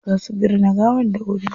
Za su binne gawar dawuri.